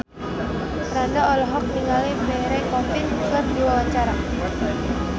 Franda olohok ningali Pierre Coffin keur diwawancara